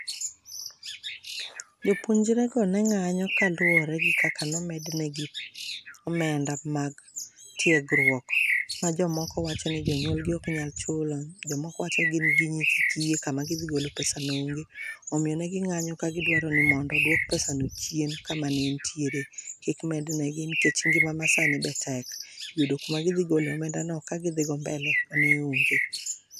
Jopuonjrego ne ng'anyo kaluore gi kaka no mednegi omenda mar tiegruok .Ma jomoko wacho ni jonyuolgi ok nyal chulo, jomoko wacho ni gin gin nyithi kiye kama gi dhi gole pesano onge omiyo ne gi ng'anyo ka gidwaroni mondo oduok pesano chien kama ne entiere kik mednegi nikech ngima masani be tek yudo kuma gi dhi gole omendano ka gi dhi go mbele ne onge.